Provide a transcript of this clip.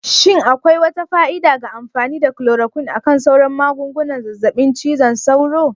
Shin akwai wata fa'ida ga amfani da chloroquine akan sauran magungunan zazzaɓin cizon sauro?